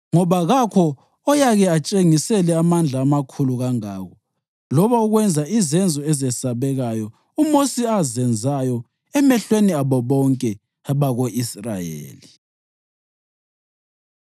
Ngoba kakho oyake atshengisele amandla amakhulu kangako loba ukwenza izenzo ezesabekayo uMosi azenzayo emehlweni abo bonke abako-Israyeli.